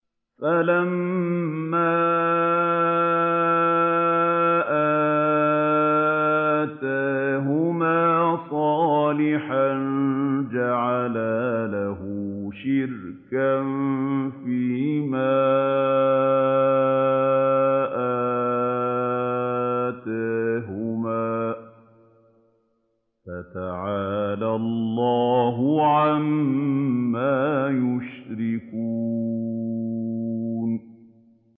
فَلَمَّا آتَاهُمَا صَالِحًا جَعَلَا لَهُ شُرَكَاءَ فِيمَا آتَاهُمَا ۚ فَتَعَالَى اللَّهُ عَمَّا يُشْرِكُونَ